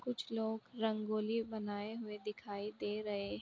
कुछ लोग रंगोली बनाये हुए दिखाई दे रहें है।